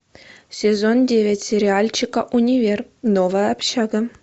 сезон девять сериальчика универ новая общага